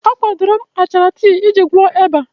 A kwadoro m achara tii iji gwọọ ịba.